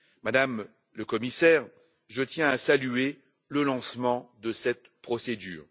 Madame la Commissaire, je tiens à saluer le lancement de cette procédure.